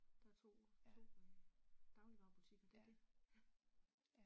Der er 2 2 øh dagligvarebutikker det det, ja